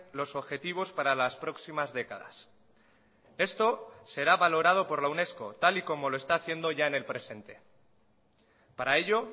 los objetivos para las próximas décadas esto será valorado por la unesco tal y como lo está haciendo ya en el presente para ello